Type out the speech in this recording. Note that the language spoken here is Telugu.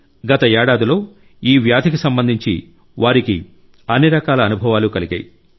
గత ఏడాదిలో ఈ వ్యాధికి సంబంధించి వారికి అన్ని రకాల అనుభవాలు కలిగాయి